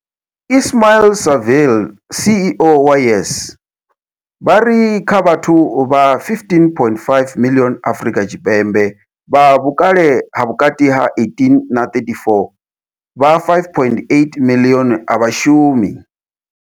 Ismail-Saville CEO wa YES, vha ri kha vhathu vha 15.5 miḽioni Afrika Tshipembe vha vhukale ha vhukati ha 18 na 34, vha 5.8 miḽioni a vha shumi.